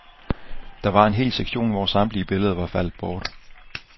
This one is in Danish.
Der var en hel sektion, hvor samtlige billeder var faldet bort.